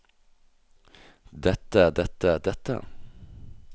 dette dette dette